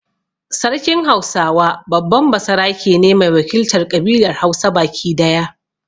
Sarkin Hausawa babban basarake ne mai wakiltar ƙabilar Hausa baki daya.